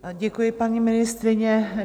Děkuji, paní ministryně.